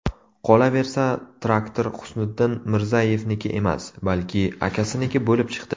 Qolaversa, traktor Husniddin Mirzayevniki emas, balki akasiniki bo‘lib chiqdi.